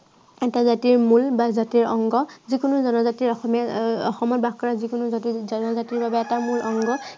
এটা জাতিৰ মূল বা জাতিৰ অংগ। যি কোনো জনজাতিয়ে অসমীয়া আহ অসমত বাস কৰা যি কোনো জাতি জনজাতিৰ বাবে এটা মূল অংগ।